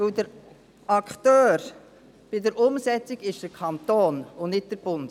Denn der Akteur bei der Umsetzung ist der Kanton, und nicht der Bund.